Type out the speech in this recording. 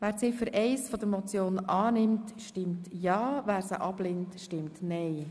Wer Ziffer 1 der Motion annimmt, stimmt ja, wer diese ablehnt, stimmt nein.